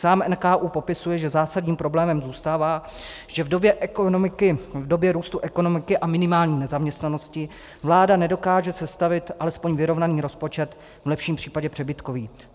Sám NKÚ popisuje, že zásadním problémem zůstává, že v době růstu ekonomiky a minimální nezaměstnanosti vláda nedokáže sestavit alespoň vyrovnaný rozpočet, v lepším případě přebytkový.